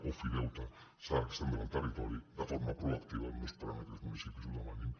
ofideute s’ha d’estendre al territori de forma proactiva no esperant que els municipis ho demanin